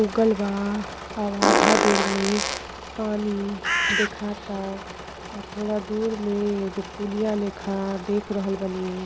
उगल बा और आधा दूर में पानी देखाता। आ थोड़ा दूर में एगो पुलिया लेखा देख रहल बानीं।